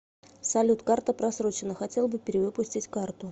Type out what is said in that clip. салют карта просроченна хотел бы перевыпустить карту